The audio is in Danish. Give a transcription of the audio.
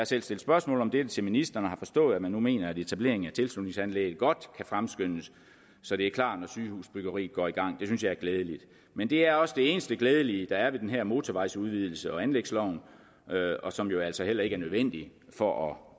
selv stillet spørgsmål om dette til ministeren og har forstået at man nu mener at etableringen af tilslutningsanlægget godt kan fremskyndes så det er klart når sygehusbyggeriet går i gang det synes jeg er glædeligt men det er også det eneste glædelige der er ved den her motorvejsudvidelse og anlægsloven som jo altså heller ikke er nødvendig for at